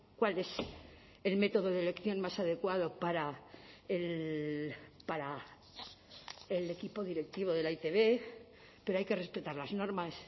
cuál es el método de elección más adecuado para el equipo directivo de la e i te be pero hay que respetar las normas